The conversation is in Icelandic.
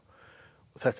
þetta er